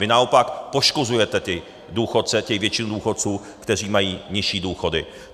Vy naopak poškozujete ty důchodce, tu většinu důchodců, kteří mají nižší důchody.